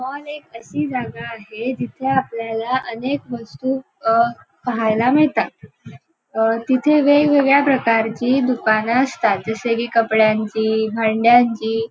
Mall एक अशी जागा आहे जिथे आपल्याला अनेक वस्तू अह पहायला मिळतात. अह तिथे वेगवेगळ्या प्रकारची दुकानं असतात जसे की कपड्यांची भांड्यांची.